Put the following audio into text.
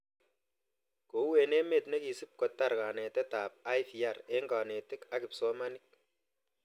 Kou eng' emet ne kiisup kotar kanetet ab IVR eng' kanetik ak kipsomanik